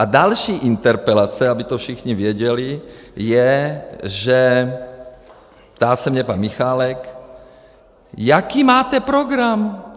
A další interpelace, aby to všichni věděli, je, že - ptá se mě pan Michálek: jaký máte program?